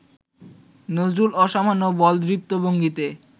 নজরুল অসামান্য বলদৃপ্ত ভঙ্গিতে